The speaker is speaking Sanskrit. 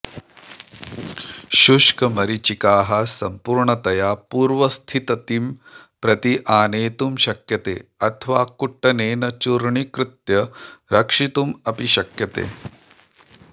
शुष्कमरीचिकाः सम्पूर्णतया पूर्वस्थिततिं प्रति आनेतुं शक्यते अथवा कुट्टनेन चूर्णीकृत्य रक्षितुम् अपि शक्यते